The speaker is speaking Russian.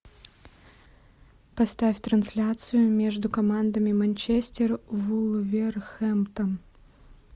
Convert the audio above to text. поставь трансляцию между командами манчестер вулверхэмптон